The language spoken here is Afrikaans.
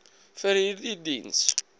vir hierdie diens